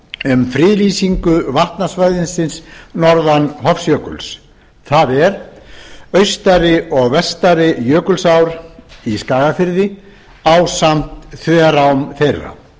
um friðlýsingu vatnasvæðisins norðan hofsjökuls það er austari og vestari jökulsár í skagafirði ásamt þverám þeirra